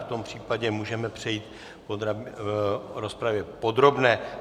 V tom případě můžeme přejít k rozpravě podrobné.